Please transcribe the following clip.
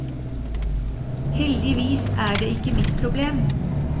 Heldigvis er det ikke mitt problem.